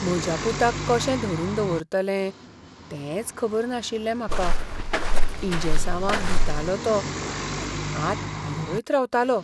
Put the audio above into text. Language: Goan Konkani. म्हज्या पुताक कशें धरून दवरतलें तेंच खबर नाशिल्लें म्हाका. इंजेसांवांक भितालो तो आनी हात हालयत रावतालो.